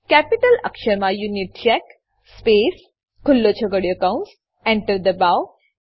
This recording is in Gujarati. કેપિટલ અક્ષરમાં યુનિચેક સ્પેસ ખુલ્લો છગડીયો કૌંસ Enter દબાવો